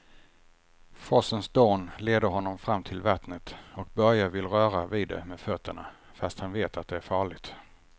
Forsens dån leder honom fram till vattnet och Börje vill röra vid det med fötterna, fast han vet att det är farligt.